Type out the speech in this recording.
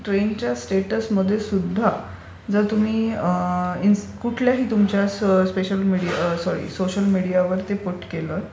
ट्रेनच्या स्टेटसमध्ये सुद्धा जर तुम्ही कुठल्याही तुमच्या सोशल मीडियावर पूट केलं